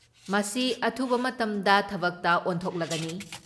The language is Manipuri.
ꯃꯁꯤ ꯑꯊꯨꯕ ꯃꯇꯝꯗ ꯊꯕꯛꯇ ꯑꯣꯟꯊꯣꯛꯂꯒꯅꯤ ꯫